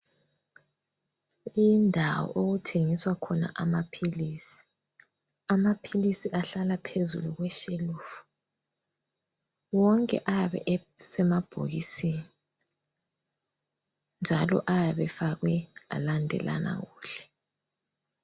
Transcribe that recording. Indawo okuthengiswa khona amaphilisi, amaphilisi ahlala phezu kweshelufu,, wonke ayabe esemabhokisini njalo ayabe efakwe alandelana kuhle.